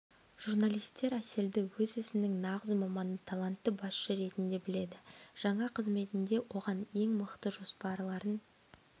журналистер әселді өз ісінің нағыз маманы талантты басшы ретінде біледі жаңа қызметінде оған ең мықты жоспарларын